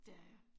Det er jeg